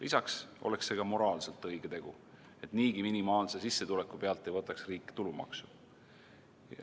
Lisaks oleks see ka moraalselt õige tegu, et niigi minimaalse sissetuleku pealt ei võtaks riik tulumaksu.